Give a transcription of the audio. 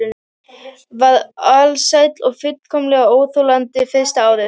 Var alsæl og fullkomlega óþolandi fyrsta árið.